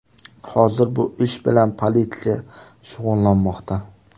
Hozir bu ish bilan politsiya shug‘ullanmoqda.